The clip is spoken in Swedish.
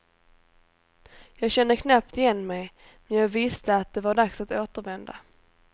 Jag kände knappt igen mig, men jag visste att det var dags att återvända.